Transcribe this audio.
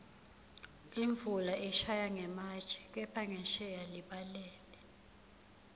imvula ishaya ngematje kepha ngensheya libalele